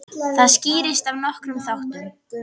Það skýrist af nokkrum þáttum.